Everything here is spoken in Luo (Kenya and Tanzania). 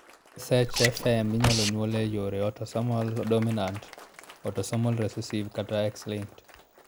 SHFM inyalo nyuol e yor autosomal dominant, autosomal recessive, kata X linked.